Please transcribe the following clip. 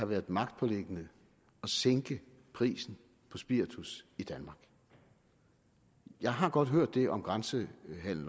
været magtpåliggende at sænke prisen på spiritus i danmark jeg har godt hørt det om grænsehandel